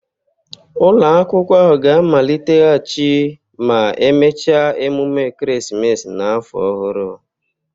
Ụlọ akwụkwọ ahụ ga-amaliteghachi ma emechaa emume ekeresimesi na afọ ọhụrụ